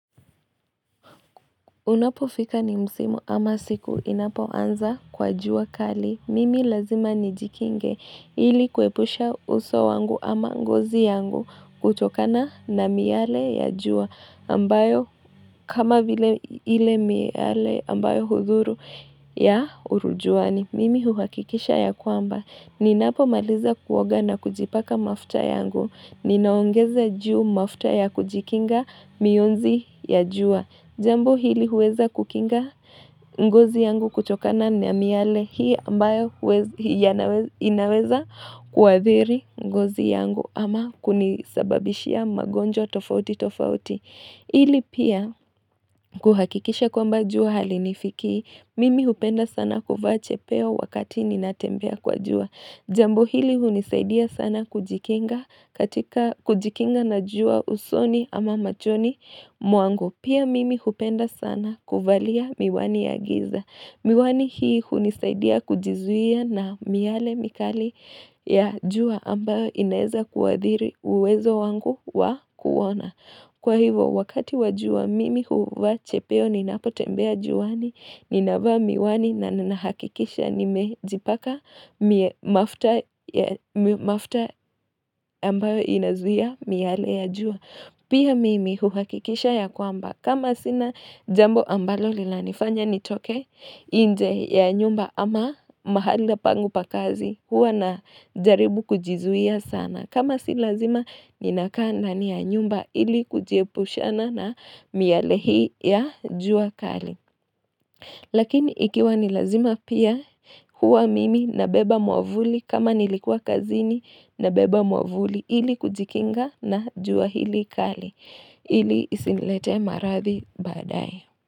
Unapofika ni msimu ama siku inapoanza kwa jua kali. Mimi lazima nijikinge. Ili kuepusha uso wangu ama ngozi yangu kutokana na miale ya jua ambayo kama vile ile miyale ambayo hudhuru ya urujuani. Mimi huhakikisha ya kwamba. Ninapomaliza kuoga na kujipaka mafuta yangu. Ninaongeza juu mafuta ya kujikinga miunzi ya jua. Jambo hili huweza kukinga ngozi yangu kutokana ni miale hii ambayo inaweza kuwathiri ngozi yangu ama kunisababishia magonjwa tofauti tofauti. Ili pia kuhakikisha kwamba jua halinifikii Mimi hupenda sana kuvaa chepeo wakati ninatembea kwa jua. Jambo hili hunisaidia sana kujikinga na jua usoni ama machoni mwangu. Pia mimi hupenda sana kuvalia miwani ya giza. Miwani hii kunisaidia kujizuia na miale mikali ya jua ambayo inaeza kuathiri uwezo wangu wa kuona. Kwa hivyo, wakati wa jua mimi huvaa chepeo ninapotembea juani, ninavaa miwani na ninahakikisha nimejipaka mafuta ambayo inazuia miale ya jua. Pia mimi huhakikisha ya kwamba kama sina jambo ambalo linanifanya nitoke inje ya nyumba ama mahala pangu pa kazi huwa najaribu kujizuia sana. Kama si lazima ninakaa ndani ya nyumba ili kujiepushana na miale hii ya jua kali. Lakini ikiwa ni lazima pia huwa mimi nabeba mwavuli. Kama nilikua kazini nabeba mwavuli ili kujikinga na jua hili kali ili isiniletee maradhi baadaye.